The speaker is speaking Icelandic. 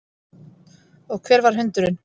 Og hver var hundurinn?